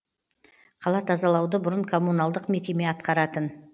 қала тазалауды бұрын коммуналдық мекеме атқаратын